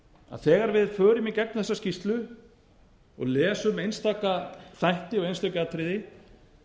að þegar við förum í gegnum þessa skýrslu og lesum einstaka þætti og einstök atriði